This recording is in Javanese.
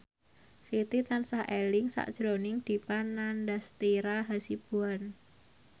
Siti tansah eling sakjroning Dipa Nandastyra Hasibuan